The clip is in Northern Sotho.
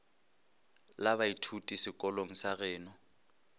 la baithuti sekolong sa geno